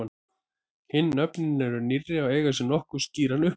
Hin nöfnin eru nýrri og eiga sér nokkuð skýran uppruna.